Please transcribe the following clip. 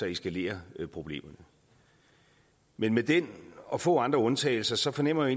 eskalerer problemet men med den og få andre undtagelser fornemmer